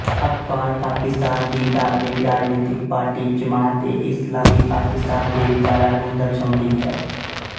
ਅਖ਼ਬਾਰ ਪਾਕਿਸਤਾਨ ਦੀ ਧਾਰਮਿਕ ਰਾਜਨੀਤਿਕ ਪਾਰਟੀ ਜਮਾਤਏਇਸਲਾਮੀ ਪਾਕਿਸਤਾਨ ਦੇ ਵਿਚਾਰਾਂ ਨੂੰ ਦਰਸਾਉਂਦੀ ਹੈ